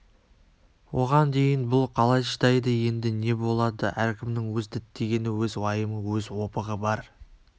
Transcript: оған дейін бұл қалай шыдайды енді не болады әркімнің өз діттегені өз уайымы өз опығы бар